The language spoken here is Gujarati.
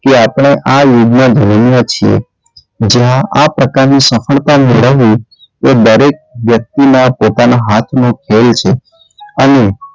તે આપણે આ યુગમાં ધન્ય છે જ્યાં આ પ્રકારની સફળતા મેળવવી એ દરેક વ્યક્તિના પોતાનાં હાથનો ખેલ છે. અને,